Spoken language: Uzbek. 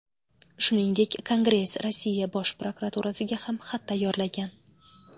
Shuningdek, Kongress Rossiya Bosh prokuraturasiga ham xat tayyorlagan.